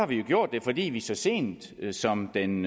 vi jo gjort det fordi vi så sent som den